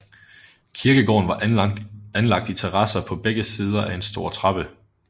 Kirkegården var anlagt i terrasser på begge sider af en stor trappe